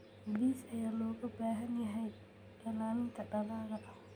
Bees ayaa looga baahan yahay ilaalinta dalagga.